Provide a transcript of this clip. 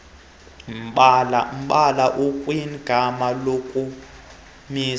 mbala ukwigama lokumisa